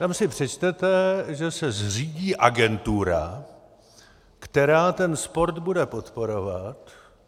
Tam si přečtete, že se zřídí agentura, která ten sport bude podporovat.